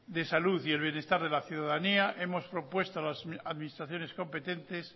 de salud y el bienestar de la ciudadanía hemos propuesto a las administraciones competentes